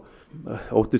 óttumst